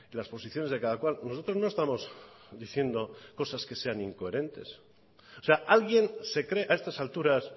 las posiciones de cada cual nosotros no estamos diciendo cosas que sean incoherentes o sea alguien se cree a estas alturas